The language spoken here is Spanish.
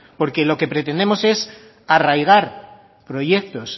porque lo que pretendemos es arraigar proyectos